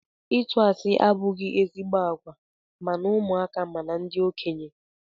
Ịtụ asị abụghị ezigbo àgwà ma na ụmụaka ma na ndị okenye.